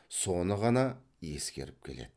соны ғана ескеріп еді